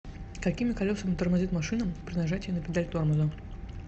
какими колесами тормозит машина при нажатии на педаль тормоза